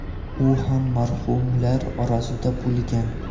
U ham marhumlar orasida bo‘lgan.